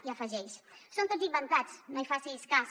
i afegeix són tots inventats no en facis cas